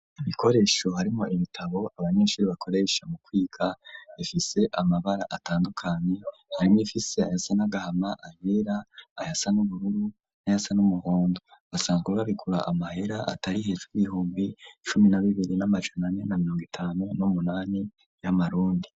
Ibikoresho harimwo ibitabo abanyeshuri bakoresha mu kwiga ,bifise amabara atandukanye harimwo ibifise ayasanagahama, ayera, ayasa n'ubururu, n'ayasa n'umuhondo, basanzwe babigura amahera atari hejuru y'bihumbi cumi na bibiri n'amajanane na mirongo itanu n'umunani y'amarundi.